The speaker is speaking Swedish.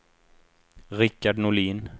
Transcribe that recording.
Richard Norlin